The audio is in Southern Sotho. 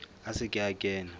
a se ke a kena